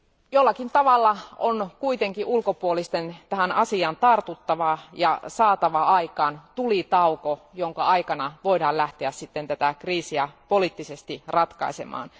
Jollakin tavalla on kuitenkin ulkopuolisten tähän asiaan tartuttava ja saatava aikaan tulitauko, jonka aikana voidaan lähteä tätä kriisiä poliittisesti ratkaisemaan.